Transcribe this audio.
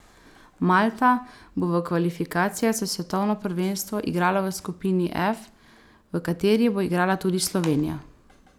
Malta bo v kvalifikacijah za svetovno prvenstvo igrala v skupini F, v kateri bo igrala tudi Slovenija.